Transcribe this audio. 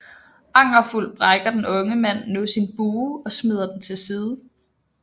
Angerfuld brækker den unge mand nu sin bue og smider den til side